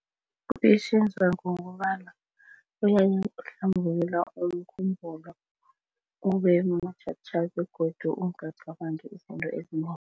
Ngokobana uhlambulula umkhumbulo ubemutjha tjha begodu ungacabangi izinto ezinengi.